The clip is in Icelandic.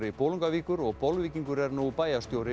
Bolungarvíkur og Bolvíkingur er nú bæjarstjóri